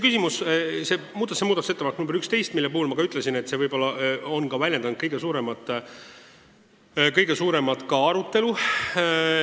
Asi on muudatusettepanekus nr 11, mille kohta ma ütlesin, et see on põhjustanud kõige suuremat arutelu.